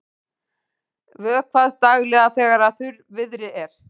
Vökvað daglega þegar þurrviðri er.